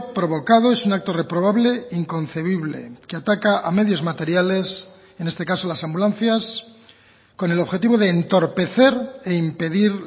provocado es un acto reprobable e inconcebible que ataca a medios materiales en este caso las ambulancias con el objetivo de entorpecer e impedir